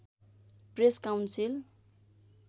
press council